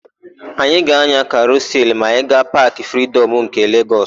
Anyị ga-ányà karusịl ma anyị gaa Paakị Fridọm nke Legọs.